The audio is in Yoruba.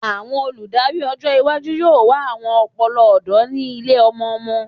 Awọn oludari ọjọ iwaju yoo wa awọn ọpọlọ ọdọ ni ile-ọmọ-ọmọ